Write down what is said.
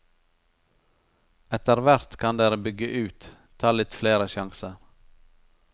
Etterhvert kan dere bygge ut, ta litt flere sjanser.